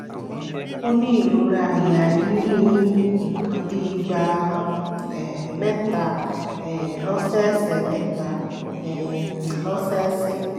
ó ní ìrora àyà yìí ní nǹkan bí ìgbà um mẹ́ta um lọ́sẹẹsẹ̀ mẹ́ta um lọ́sẹẹsẹ̀